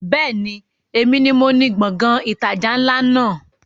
Bẹ́ẹ̀ni, èmi ni moní Gbọ̀ngán ìtajà ńlá náà